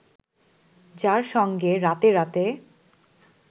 যার সঙ্গে রাতে রাতে